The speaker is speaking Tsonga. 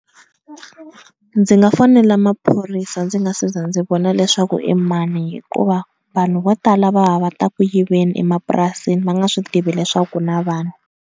Ndzi nga fonela maphorisa ndzi nga se za ndzi vona leswaku i mani hikuva vanhu vo tala va va va ta ku yiveni emapurasini va nga swi tivi leswaku ku na vanhu.